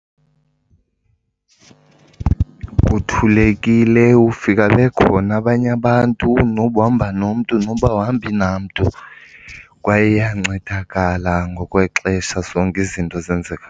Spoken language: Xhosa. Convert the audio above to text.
Kuthulekile, ufika bekhona abanye abantu noba uhamba nomntu noba awuhambi namntu kwaye uyancedakala ngokwexesha, zonke izinto zenzeka.